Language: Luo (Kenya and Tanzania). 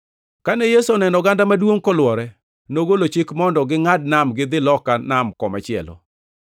Kane Yesu oneno oganda maduongʼ kolwore, nogolo chik mondo gingʼad nam gidhi loka nam komachielo.